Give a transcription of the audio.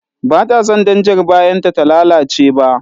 Ba ta san danjar bayanta ta lalace ba.